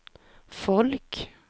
folk